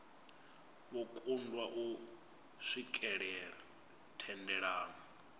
vho kundwa u swikelela thendelano